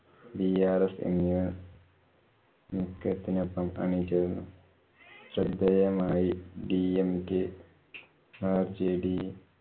drs എന്നിവ ത്തിനൊപ്പം അണിചേര്‍ന്നു. ശ്രദ്ധേയമായി dmk rjde